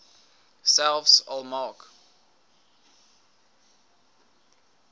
selfs al maak